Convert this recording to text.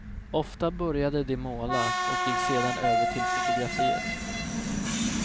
Ofta började de måla och gick sedan över till fotografiet.